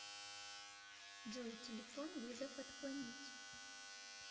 джой телефон вызов отклонить